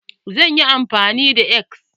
Zan yi amfani da X.